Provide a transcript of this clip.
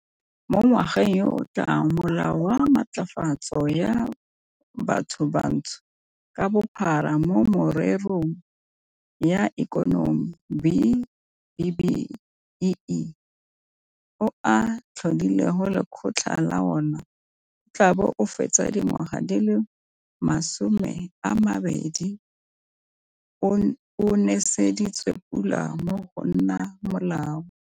Mo ngwageng yo o tlang Molao wa Matlafatso ya Bathobantsho ka Bophara mo Mererong ya Ikonomi, B-BBEE, o o tlhodileng lekgotla la ona, o tla bo o fetsa dingwaga di le masomeamabedi o neseditswe pula go nna molao.